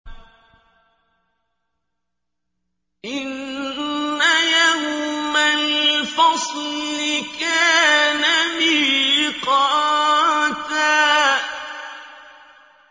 إِنَّ يَوْمَ الْفَصْلِ كَانَ مِيقَاتًا